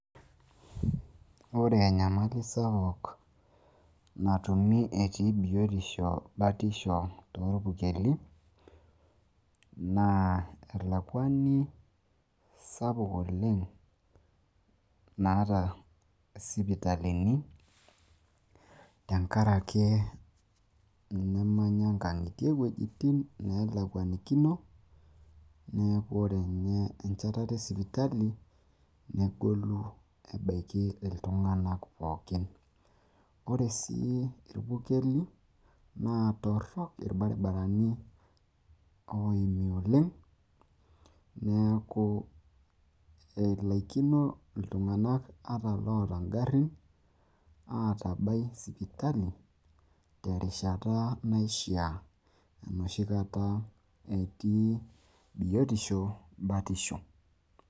ore enyamali sapuk natumi etii biotisho, batisho toorpukeli, naa elakuani, sapuk oleng naata isipitalini, tenkaraki enemeya inkang'itie iwuejitin neelakuanikino. neeku ore ene enchatata esipitali, negolu ebaiki iltunganak pookn. ore sii irpukeli naa tororok irbaribarani oleng'.neeku elaikino iltung'anak aatabai sipitali, tenkata naishaa tenkata ebatisho.